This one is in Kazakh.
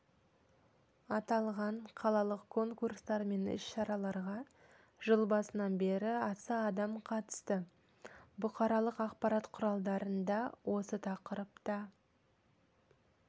аталған қалалық конкурстар мен іс-шараларға жыл басынан бері аса адам қатысты бұқаралық ақпарат құралдарында осы тақырыпта